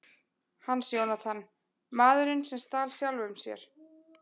Hans Jónatan: Maðurinn sem stal sjálfum sér.